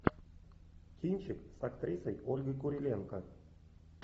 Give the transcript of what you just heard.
кинчик с актрисой ольгой куриленко